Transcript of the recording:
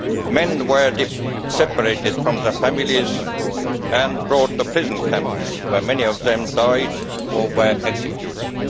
Men were separated from their families and brought to prison camps where many of them died or were executed.